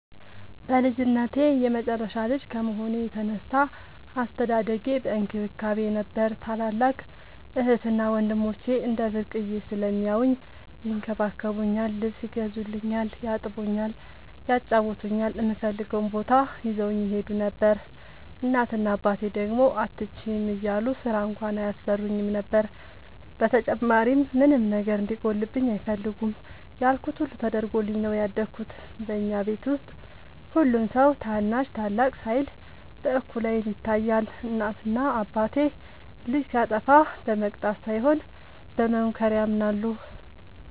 በልጅነቴ የመጨረሻ ልጅ ከመሆኔ የተነሳ አስተዳደጌ በእንክብካቤ ነበር። ታላላቅ እህትና ወንድሞቸ እንደ ብርቅየ ስለሚያውኝ ይንከባከቡኛል ,ልብስ ይገዙልኛል ,ያጥቡኛል ,ያጫውቱኛል, እምፈልገውም ቦታ ይዘውኝ ይሄዱ ነበር። እናት እና አባቴ ደግሞ አትችይም እያሉ ስራ እንኳን አያሰሩኝም ነበር። በተጨማሪም ምንም ነገር እንዲጎልብኝ አይፈልጉም ያልኩት ሁሉ ተደርጎልኝ ነው ያደኩት። በኛ ቤት ውስጥ ሁሉም ሰው ታናሽ ታላቅ ሳይል በእኩል አይን ይታያል። እናት እና አባቴ ልጅ ሲያጠፋ በመቅጣት ሳይሆን በመምከር ያምናሉ።